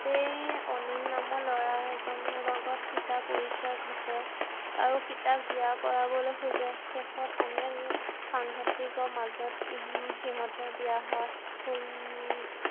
এই অনিল নামৰ ল'ৰা এজনৰ লগত সীতাৰ পৰিচয় ঘটে আৰু সীতাক বিয়া কৰাব খোজে শেষত সাংঘাটিকৰ মাজত সিহঁতৰ বিয়া হয়